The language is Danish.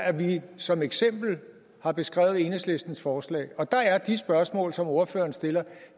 er det vi som eksempel har beskrevet i enhedslistens forslag og der er de spørgsmål som ordføreren stiller